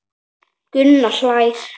Gunni hlær.